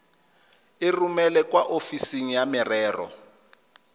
romele kwa ofising ya merero